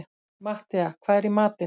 Matthea, hvað er í matinn?